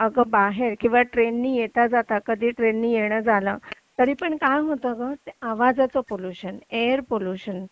अगं बाहेर किंवा ट्रेन नाही येताना कधी ट्रेन नी येणं झालं तरी पण काय होतं ते आवाजाचं पोल्युशन एअर पॉल्युशन